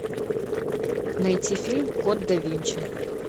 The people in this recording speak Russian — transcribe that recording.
найти фильм код да винчи